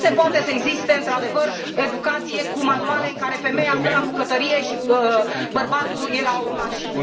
Nu se poate să existe într adevăr educație cu manuale în care femeia stă la bucătărie și bărbatul e la mașină.